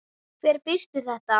Hver birti þetta?